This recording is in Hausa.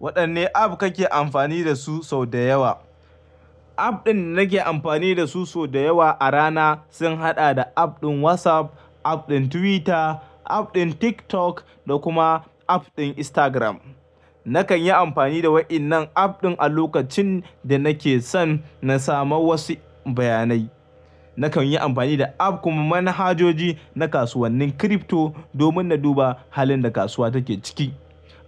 Waɗanne app kake amfani dasu sau da yawa? App ɗin nake amfani dasu sau da yawa a rana, sun haɗa da app ɗin WhatsApp, app ɗin Twitter, app ɗin TikTok, da kuma app ɗin Instagram. Nakan yi amfani da wa'innan app ɗin a lokacin da nake son na samu wasu bayanai. Nakan yi amfani da app kuma manhajoji na kasuwannin crypto domin na duba halin da kasuwa take ciki.